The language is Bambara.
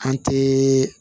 An tɛ